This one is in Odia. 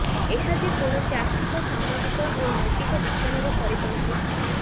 ଏହା ଯେ କୌଣସି ଆର୍ଥିକ ସାମାଜିକ ଓ ନୈତିକ ବିଚାରର ପରିପନ୍ଥୀ